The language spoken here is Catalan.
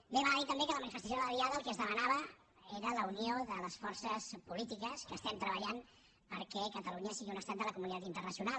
bé val a dir també que a la manifestació de la diada el que es demanava era la unió de les forces polítiques que estem treballant perquè catalunya sigui un estat de la comunitat internacional